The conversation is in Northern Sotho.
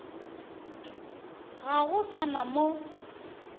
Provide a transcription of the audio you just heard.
ga go sa na mo